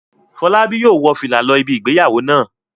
Fọlábí yóò wọ fìlà lọ ibi ìgbéyàwó náà.